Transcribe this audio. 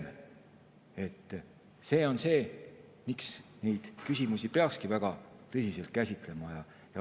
See on see, miks neid küsimusi peaks väga tõsiselt käsitlema.